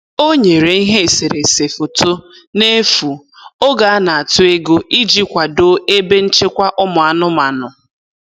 O nyere ihe eserese foto n'efu oge a na-atụ ego iji kwado ebe nchekwa ụmụ anụmanụ.